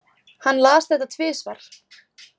Hann las þetta tvisvar.